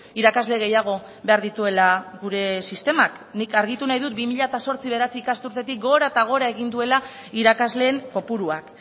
irakasle gehiago behar dituela gure sistemak nik argitu nahi dut bi mila zortzi bi mila bederatzi ikasturtetik gora eta gora egin duela irakasleen kopuruak